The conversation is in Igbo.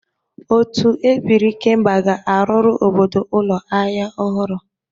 Otu ebiri ikemba ga-arụrụ obodo ụlọ ahịa ọhụrụ.